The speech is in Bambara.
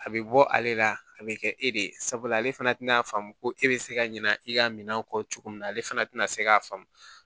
A bɛ bɔ ale la a bɛ kɛ e de ye sabula ale fana tɛna faamu ko e bɛ se ka ɲina i ka minan kɔ cogo min na ale fana tina se k'a faamu